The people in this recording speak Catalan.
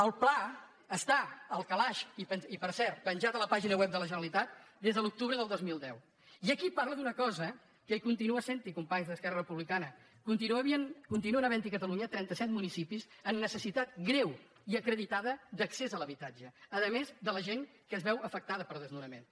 el pla està al calaix i per cert pen·jat a la pàgina web de la generalitat des de l’octubre del dos mil deu i aquí parla d’una cosa que con tinua sent·hi companys d’esquerra republicana conti nuen havent·hi a catalunya trenta·set municipis amb necessitat greu i acreditada d’accés a l’habitatge a més de la gent que es veu afectada per desnonaments